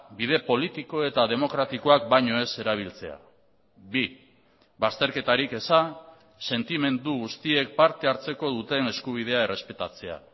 bide politiko eta demokratikoak baino ez erabiltzea bi bazterketarik eza sentimendu guztiek partehartzeko duten eskubidea errespetatzea